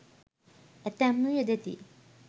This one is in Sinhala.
ඇතැම්හු යෙදෙති.